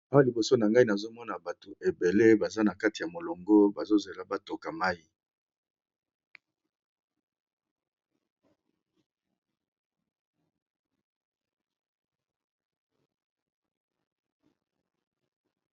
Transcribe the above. Awa liboso na ngai nazomona bato ebele baza na kati ya molongo bazo zela batoka mai.